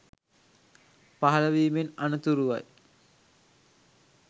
පහළ වීමෙන් අනතුරුවයි.